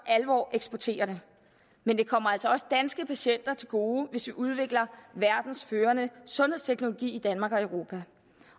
alvor eksportere dem men det kommer altså også danske patienter til gode hvis vi udvikler verdens førende sundhedsteknologi i danmark og i europa